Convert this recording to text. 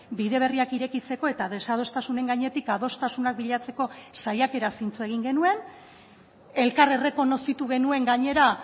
bide berriak irekitzeko eta desadostasunen gainetik adostasunak bilatzeko saiakeraz hitz egin genuen elkar errekonozitu genuen gainera